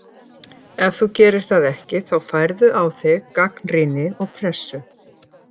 Ef þú gerir það ekki þá færðu á þig gagnrýni og pressu.